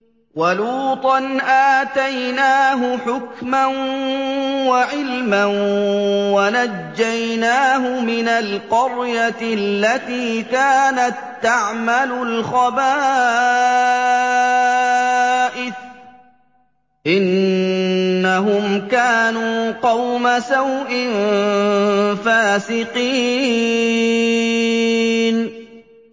وَلُوطًا آتَيْنَاهُ حُكْمًا وَعِلْمًا وَنَجَّيْنَاهُ مِنَ الْقَرْيَةِ الَّتِي كَانَت تَّعْمَلُ الْخَبَائِثَ ۗ إِنَّهُمْ كَانُوا قَوْمَ سَوْءٍ فَاسِقِينَ